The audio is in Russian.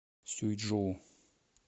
сюйчжоу